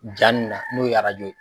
Ja na n'o ye